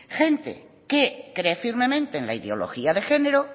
gente que cree firmemente en la ideología de género